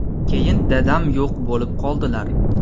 Keyin dadam yo‘q bo‘lib qoldilar.